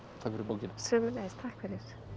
takk fyrir bókina sömuleiðis takk fyrir